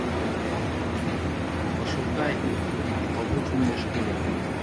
пошукай побудь в моей шкуре